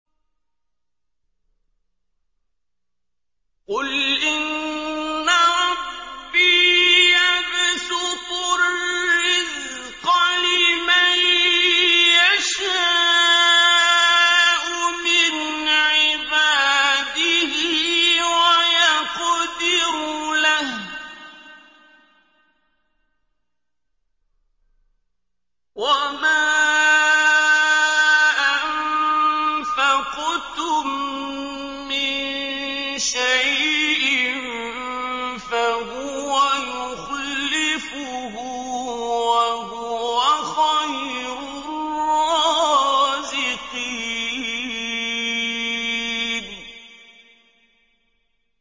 قُلْ إِنَّ رَبِّي يَبْسُطُ الرِّزْقَ لِمَن يَشَاءُ مِنْ عِبَادِهِ وَيَقْدِرُ لَهُ ۚ وَمَا أَنفَقْتُم مِّن شَيْءٍ فَهُوَ يُخْلِفُهُ ۖ وَهُوَ خَيْرُ الرَّازِقِينَ